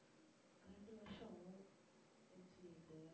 ரெண்டு வருஷம் MCA க்கு